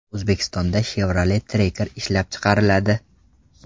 O‘zbekistonda Chevrolet Tracker ishlab chiqariladi .